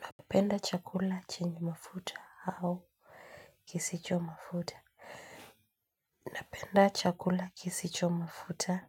Napenda chakula chenye mafuta au kisicho mafuta. Napenda chakula kisicho mafuta.